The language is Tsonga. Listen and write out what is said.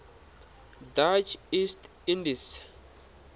dutch east indies